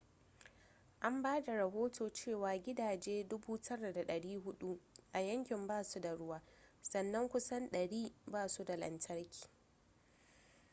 an ba da rohoto cewa gidaje 9400 a yankin ba su da ruwa sannan kusan 100 ba su da lantarki